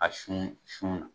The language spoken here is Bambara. A sun sunna.